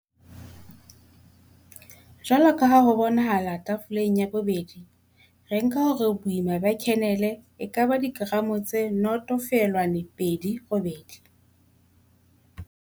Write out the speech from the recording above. Jwalo ka ha ho bonahala Theiboleng ya 2 re nka hore boima ba khenele e ka ba dikeramo tse 0, 28.